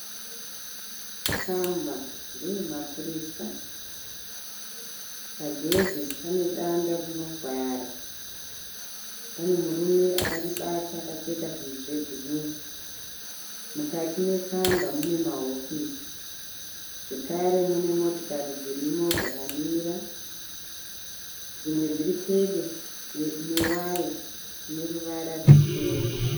Kamba ndeye mapurisa. Pagedhe pane danda rinovhara, pane murume akaribata akapfeka zvunhu zvebhuru. Mukati meKamba mune mahofisi zvekare mune motokari dzakamira. Dzimwe dziri pedo newaya ine ruvara ruchena.